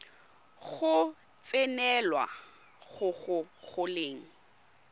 go tsenelela go go golang